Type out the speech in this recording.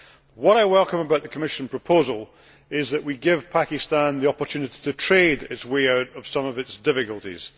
What I welcome about the Commission proposal is that we give Pakistan the opportunity to trade its way out of some of its difficulties.